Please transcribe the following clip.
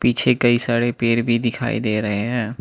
पीछे कई सारे पेड़ भी दिखाई दे रहे हैं।